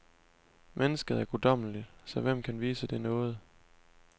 Mennesket er guddommeligt, så hvem kan vise det nåde.